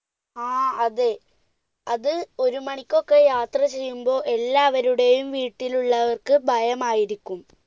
ആ അതെ, അത് ഒരു മണിക്ക് ഒക്കെ യാത്രചെയ്യുമ്പോൾ എല്ലാവരുടെയും വീട്ടിലുള്ളവർക്ക് ഭയമായിരിക്കും.